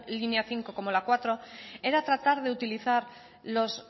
línea cinco como la cuatro era tratar de utilizar los